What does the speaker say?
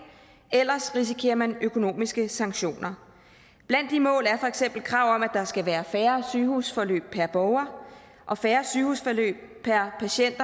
ellers risikerer man økonomiske sanktioner blandt de mål er for eksempel krav om at der skal være færre sygehusforløb per borger og færre sygehusforløb per patient